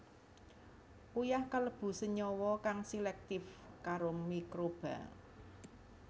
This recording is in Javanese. Uyah kalebu senyawa kang selektif karo mikroba